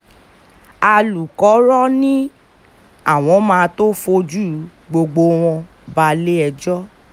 alukkóró ni àwọn máa tóó fojú gbogbo wọn balẹ̀-ẹjọ́